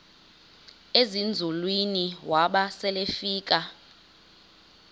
ezinzulwini waba selefika